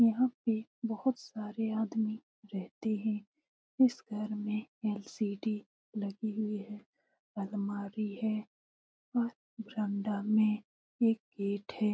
यहाँ पे बहुत सारे आदमी रहते हैं इस घर मे एल.सी.डी. लगी हुए हैं अलमारी है और बरंडा एक गेट है।